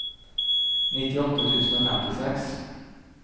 nittiåtte tusen og femtiseks